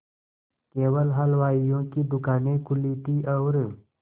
केवल हलवाइयों की दूकानें खुली थी और